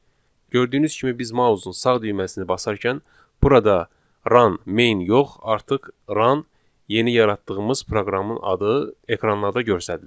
gördüyünüz kimi biz mausun sağ düyməsini basarkən burada run main yox, artıq run yeni yaratdığımız proqramın adı ekranda göstərilir.